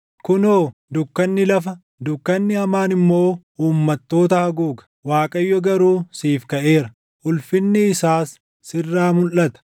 Kunoo, dukkanni lafa, dukkanni hamaan immoo uummattoota haguuga; Waaqayyo garuu siif kaʼeera; ulfinni isaas sirraa mulʼata.